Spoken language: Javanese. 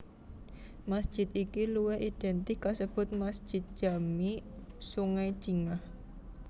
Masjid iki luwih identik kasebut Masjid Jami Sungai Jingah